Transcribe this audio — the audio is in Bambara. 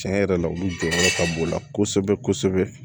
Tiɲɛ yɛrɛ la olu jɔyɔrɔ ka bon o la kosɛbɛ kosɛbɛ